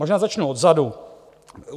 Možná začnu odzadu.